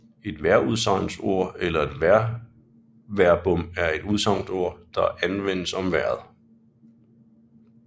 Et vejrudsagnsord eller vejrverbum er et udsagnsord der anvendes om vejret